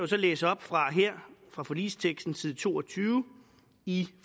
så læse op fra fra forligsteksten side to og tyve i